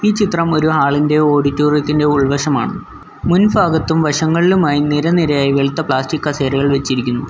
ചിത്രം ഒരു ആൾ ഇന്ത്യ ഓഡിറ്റോറിയത്തിന്റെ ഉൾവശമാണ് മുൻ ഫാഗത്തും വശങ്ങളിലുമായി നിര നിരയായി വെളുത്ത പ്ലാസ്റ്റിക് കസേരകൾ വെച്ചിരിക്കുന്നു.